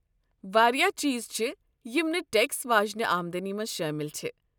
واریاہ چیٖز چھِ یم نہٕ ٹیکس واجِنہِ آمدنی منز شٲمِل چھِ ۔